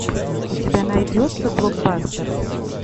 у тебя найдется блокбастер